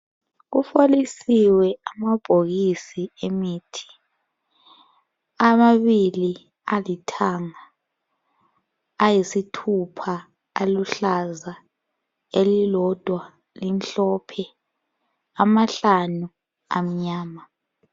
Kufolisiwe amabhokisi emithi, amabili alithanga ayisithupha aluhlaza elilodwa limhlophe amahlanu amnyama.